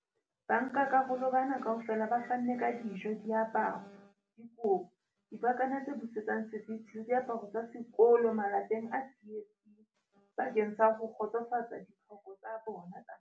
Bankakarolo bana kaofela ba fanne ka dijo, diaparo, dikobo, dipakana tse busetsang seriti le diaparo tsa sekolo malapeng a tsietsing bakeng sa ho kgotsofatsa ditlhoko tsa bona tsa mantlha.